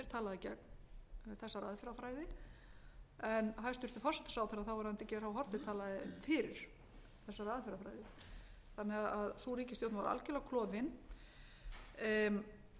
gegn þessari aðferðafræði en hæstvirtur forsætisráðherra þáv geir h haarde talaði fyrir þessari aðferðafræði sú ríkisstjórn var því algjörlega